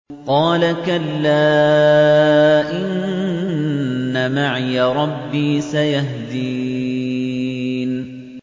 قَالَ كَلَّا ۖ إِنَّ مَعِيَ رَبِّي سَيَهْدِينِ